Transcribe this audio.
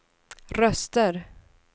röster